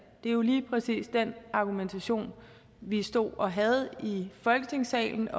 det er jo lige præcis den argumentation vi stod og havde i folketingssalen